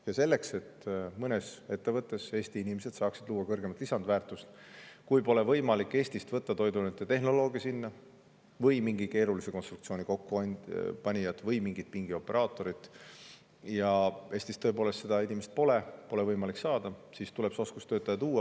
Ja selleks, et mõnes ettevõttes saaksid Eesti inimesed luua kõrgemat lisandväärtust, kui Eestist pole võimalik võtta sinna toiduainete tehnoloogi või mingi keerulise konstruktsiooni kokkupanijat või pingioperaatorit – Eestis tõepoolest seda inimest pole, pole võimalik leida –, tuleb see oskustöötaja sisse tuua.